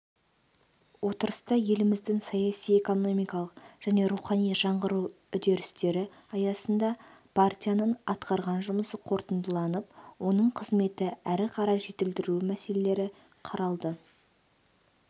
отырыста еліміздің саяси экономикалық және рухани жаңғыру үдерістері аясында партияның атқарған жұмысы қорытындыланып оның қызметін әрі қарай жетілдіру мәселелері қаралды